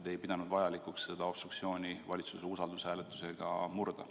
Te ei pidanud vajalikuks seda obstruktsiooni valitsuse usaldushääletusega murda.